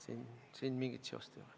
Siin mingit seost ei ole.